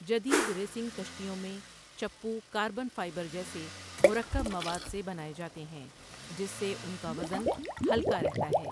جدید ریسنگ کشتیوں میں چپو کاربن فائبر جیسےمرکب مواد سے بناۓ جاتے ہیں جس سے ان کا وزن ہلکا رہتا ہے.